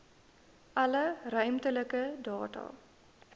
alle ruimtelike data